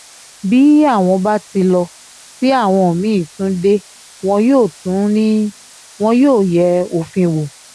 bí àwọn bá ti lọ tí àwọn mí-ín tún dé wọn yóò tún ní wọn yóò yẹ òfin wò